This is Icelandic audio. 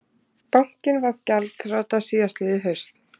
Bankinn varð gjaldþrota síðastliðið haust